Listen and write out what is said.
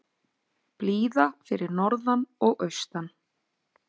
Blíða fyrir norðan og austan